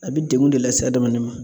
A bɛ degun de lase adamaden ma.